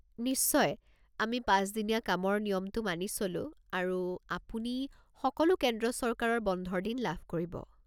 নিশ্চয়, আমি পাঁচ দিনীয়া কামৰ নিয়মটো মানি চলো আৰু আপুনি সকলো কেন্দ্ৰ চৰকাৰৰ বন্ধৰ দিন লাভ কৰিব।